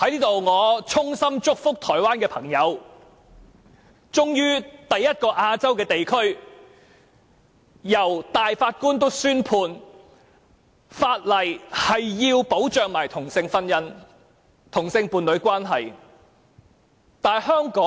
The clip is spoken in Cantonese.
我在此衷心祝福台灣的朋友，亞洲終於首次有地區由大法官作出宣判，裁定法例須保障同性婚姻及同性伴侶關係。